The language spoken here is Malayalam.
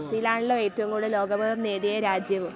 ബ്രസീലാണല്ലോ ഏറ്റവും കൂടുതൽ ലോകകപ്പ് നേടിയ രാജ്യവും.